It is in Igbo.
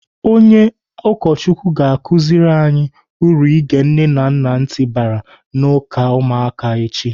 Onye ụkọchukwu ga-akụziri anyị uru ige nne na ntị bara n'uka ụmụaka echi.